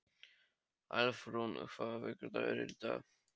Álfrún, hvaða vikudagur er í dag?